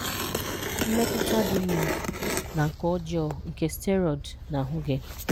Mmetụta dị mma na nke ọjọọ nke Steroid na ahụ gị